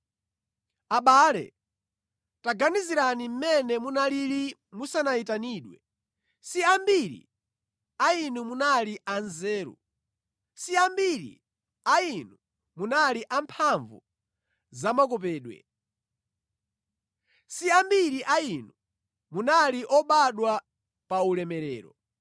Abale taganizirani mmene munalili musanayitanidwe. Si ambiri a inu munali a nzeru, si ambiri a inu munali a mphamvu zamakopedwe. Si ambiri a inu munali obadwa pa ulemerero.